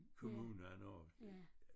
Kommunen og